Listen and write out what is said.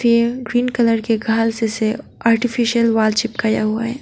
ये green colour के घास से आर्टिफिशियल वॉल चिपकाया हुआ है।